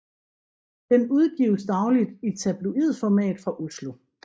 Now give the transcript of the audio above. Den udgives dagligt i tabloidformat fra Oslo